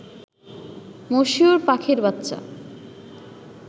মশিউর পাখির বাচ্চা